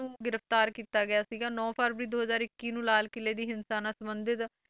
ਨੂੰ ਗ੍ਰਿਫ਼ਤਾਰ ਕੀਤਾ ਗਿਆ ਸੀਗਾ ਨੋਂ ਫਰਵਰੀ ਦੋ ਹਜ਼ਾਰ ਇੱਕੀ ਨੂੰ ਲਾਲ ਕਿਲ੍ਹੇ ਦੀ ਹਿੰਸਾ ਨਾਲ ਸੰਬੰਧਿਤ